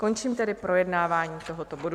Končím tedy projednávání tohoto bodu.